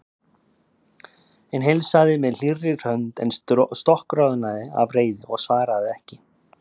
Hinn heilsaði með hlýrri hönd en stokkroðnaði af reiði og svaraði ekki.